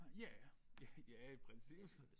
Ja ja i princippet